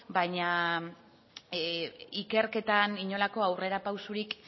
baina ikerketan inolako aurrerapausorik